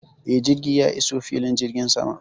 Eh, jirgi ya iso filin jirgin sama.